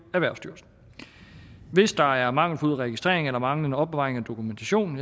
erhvervsstyrelsen hvis der er mangelfuld registrering eller manglende opbevaring af dokumentation